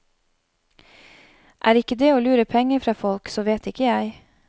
Er ikke det å lure penger fra folk, så vet ikke jeg.